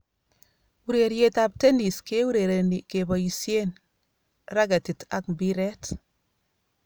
Urerietab Tennis keurereni keboisieen raketit ak mpiret